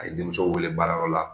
A ye denmuso wele baarayɔrɔ la